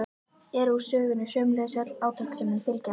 er úr sögunni, sömuleiðis öll átök sem henni fylgja.